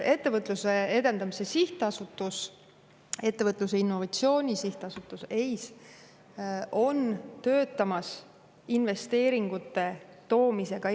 Ettevõtluse ja Innovatsiooni Sihtasutus ehk EIS töötab investeeringute Eestisse toomise kallal.